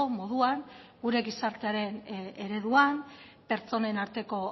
moduan gure gizartearen ereduan pertsonen arteko